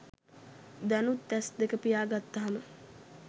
දැනුත් ඇස් දෙක පියා ගත්තහම